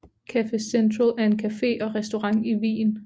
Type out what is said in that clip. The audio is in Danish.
Café Central er en café og restaurant i Wien